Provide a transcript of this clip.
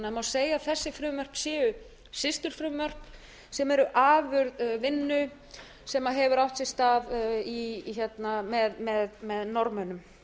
segja að þessi frumvörp séu systurfrumvörp sem eru afurð vinnu sem hefur átt sér stað með norðmönnum